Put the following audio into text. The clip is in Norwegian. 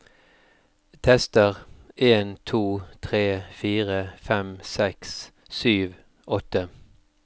Tester en to tre fire fem seks sju åtte